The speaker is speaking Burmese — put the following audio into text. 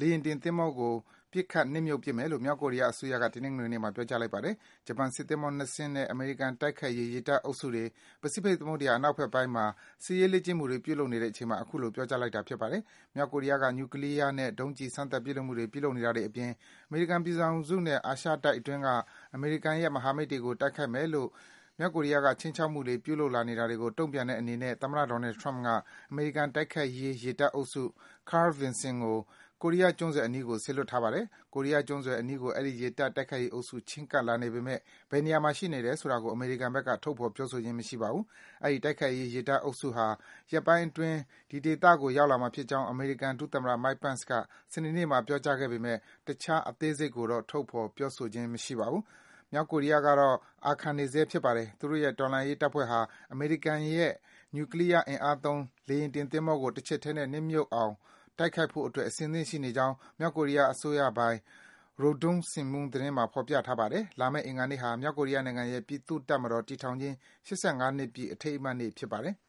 လေယာဉ်တင်သင်္ဘော ကို ပစ်ခတ် နှစ်မြုှပ်ပစ်မယ်လို့ မြောက်ကိုရီးယား အစိုးရက တနင်္ဂနွေနေ့မှာ ပြောကြား လိုက်ပါတယ်။ ဂျပန်စစ်သင်္ဘော ၂ စင်းနဲ့ အမေရိကန် တိုက်ခိုက်ရေး ရေတပ်အုပ်စုတွေ ပစိဖိတ် သမုဒ္ဒယာ အနောက်ဖက်ပိုင်းမှာ စစ်စရေး လေ့ကျင့်မှုတွေ ပြုလုပ်နေတဲ့အချိန်မှာ အခုလို ပြောကြားလိုက်တာ ဖြစ်ပါတယ်။ မြောက်ကိုရီးယားက နျူကလီးယားနဲ့ ဒုံးကျည် စမ်းသပ် ပစ်လွတ်မှုတွေ ပြုလုပ်နေတာ အပြင် အမေရိကန်ပြည်ထောင်စုနဲ့ အာရှတိုက်အတွင်းက အမေရိကန် မဟာမိတ်တွေကို တိုက်ခိုက်မယ်လို့ မြောက်ကိုရီးယားက ခြိမ်းချောက်မှု ပြုလာတာတွေကို တုန့်ပြန်တဲ့ အနေနဲ့ သမ္မတ Donald Trump က အမေရိကန် တိုက်ခိုက်ရေး ရေတပ်အုပ်စု Carl Vinson ကို ကိုရီးယားကျွန်းစွယ် အနီးကို စေလွတ်ထားပါတယ်။ ကိုရီးယားကျွန်းဆွယ် အနီးကို အဲဒီ ရေတပ် တိုက်ခိုက်ရေးအုပ်စု ချဉ်းကပ်လာနေပေမယ့် ဘယ်နေရာမှာ ရှိနေတယ်ဆိုတာကို အမေရိကန်က ထုတ်ဖော် ပြောဆိုခြင်း မရှိပါဘူး။ အဲဒီ တိုက်ခိုက်ရေး ရေတပ် အုပ်စုဟာ ရက်ပိုင်းအတွင်း ဒီဒေသကို ရောက်လာမှာ ဖြစ်ကြောင်း အမေရိကန် ဒုသမ္မတ Mike Pence က စနေနေ့မှာ ပြောကြားခဲ့ပေမယ့် တခြား အသေးစိတ်ကိုတော့ ထုတ်ဖော် ပြောဆိုခြင်း မရှိပါဘူး။ မြောက်ကိုရီးယားကတော့ အာခံနေဆဲ ဖြစ်ပါတယ်။ သူတို့ရဲ့ တော်လှန်ရေး တပ်ဖွဲ့ဟာ အမေရိကန်ရဲ့ နျူကလီးယား အင်အားသုံး လေယာဉ်တင် သင်္ဘောကို တချက်ထဲနဲ့ နစ်မြုပ်သွားအောင် တိုက်ခိုက်ဖို့အတွက် အဆင်သင့်ရှိနေကြောင်း မြောက်ကိုရီးယား အစိုးရပိုင် Rodong Sinmun သတင်းစာမှာ ဖော်ပြထားပါတယ်။ လာမယ့် အင်္ဂါနေ့ဟာ မြောက်ကိုရီးယားနိုင်ငံရဲ့ ပြည်သူ့တပ်မတော် တည်ထောင်ခြင်း ၈၅ နှစ်ပြည့် အထိမ်းအမှတ်နေ့ ဖြစ်ပါတယ်။